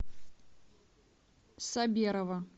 саберова